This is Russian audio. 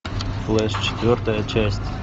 флеш четвертая часть